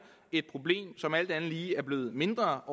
et problem som alt andet lige er blevet mindre